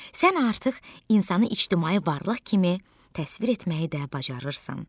Sən artıq insanı ictimai varlıq kimi təsvir etməyi də bacarırsan.